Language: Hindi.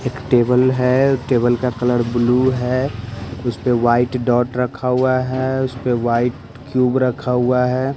एक टेबल है टेबल का कलर ब्लू है उस पे वाइट डॉट रखा हुआ है उस पे वाइट क्यूब रखा हुआ है।